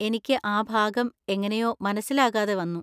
എനിക്ക് ആ ഭാഗം എങ്ങനെയോ മനസിലാകാതെ വന്നു.